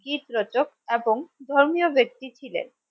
গীত রচক এবং ধর্মীয় ব্যাক্তি ছিলেন